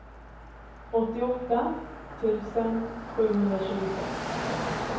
åttioåtta tusen sjuhundratjugosex